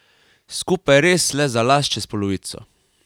Skupaj res le za las čez polovico.